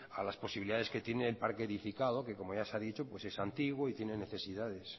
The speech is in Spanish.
a las posibilidades que tiene el parque edificado que como ya se ha dicho es antiguo y tiene necesidades